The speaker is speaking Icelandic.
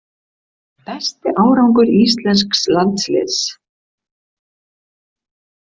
Besti árangur íslensks landsliðs